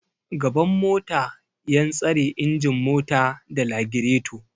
Gaban mota yan tsare ingin mota da lagireto